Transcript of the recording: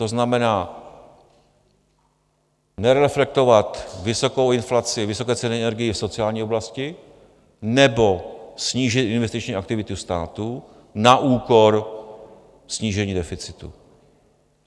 To znamená nereflektovat vysokou inflaci, vysoké ceny energií v sociální oblasti nebo snížit investiční aktivitu státu na úkor snížení deficitu.